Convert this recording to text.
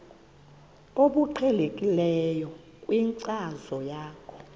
obuqhelekileyo kwinkcazo yakho